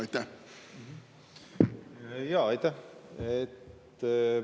Aitäh!